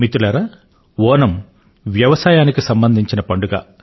మిత్రులారా ఓణమ్ వ్యవసాయానికి సంబంధించిన పండుగ